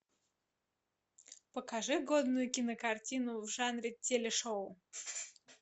покажи годную кинокартину в жанре телешоу